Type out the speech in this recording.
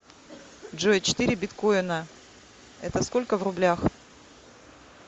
джой четыре биткоина это сколько в рублях